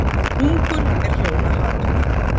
Hungur er hjóna hatur.